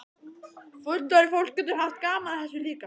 Fullorðið fólk getur haft gaman af þessu líka?